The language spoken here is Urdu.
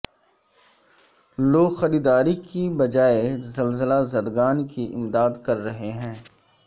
لوگ خریدار کی بجائے زلزلہ زدگان کی امداد کر رہے ہیں